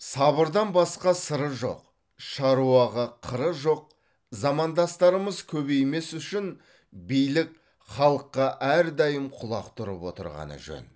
сабырдан басқа сыры жоқ шаруаға қыры жоқ замандастарымыз көбеймес үшін билік халыққа әрдайым құлақ түріп отырғаны жөн